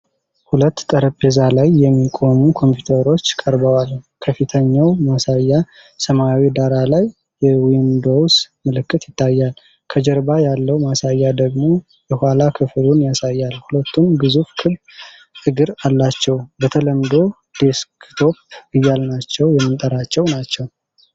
ሁለት ጠረጴዛ ላይ የሚቆሙ ኮምፒውተሮች ቀርበዋል። ከፊተኛው ማሳያ ሰማያዊ ዳራ ላይ የዊንዶውስ ምልክት ይታያል። ከጀርባ ያለው ማሳያ ደግሞ የኋላ ክፍሉን ያሳያል፤ ሁለቱም ግዙፍ ክብ እግር አላቸው። በተለምዶ ዴስክቶፕ እያልናቸው የምንጠራቸው ናቸው።